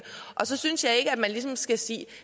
og så synes jeg ikke at man ligesom skal sige at